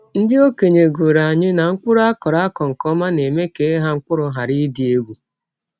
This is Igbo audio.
Ndị okenye gụrụ anyị na mkpụrụ akọrọ akọrọ nke ọma na-eme ka ịgha mkpụrụ ghara ịdị egwu.